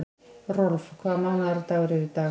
Rolf, hvaða mánaðardagur er í dag?